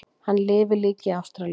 Hann lifir líka í Ástralíu.